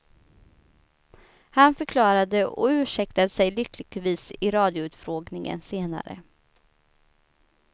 Han förklarade och ursäktade sig lyckligtvis i radioutfrågningen senare.